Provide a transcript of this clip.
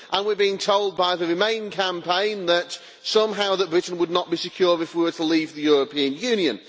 We are being told by the Remain campaign that somehow Britain would not be secure if we were to leave the European Union.